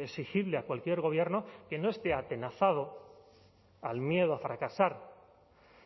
exigible a cualquier gobierno que no esté atenazado al miedo a fracasar